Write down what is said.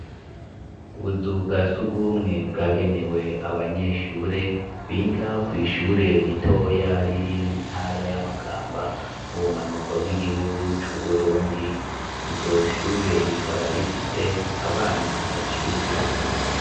Ubuzu bwa surwumwe bwagenewe abanyeshure biga kw'ishure ritoya riri mu ntara ya Makamba, mu bumanuko bw'igihugu c' Uburundi, iryo shure rikaba rifise abana baciyubwenge.